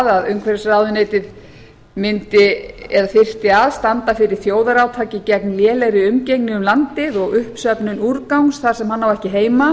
að umhverfisráðuneytið þyrfti að standa fyrir þjóðarátaki gegn lélegri umgengni um landið og uppsöfnun úrgangs þar sem hann á